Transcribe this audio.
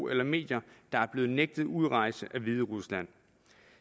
eller medier der er blevet nægtet udrejse af hviderusland